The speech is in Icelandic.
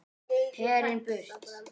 Herinn burt!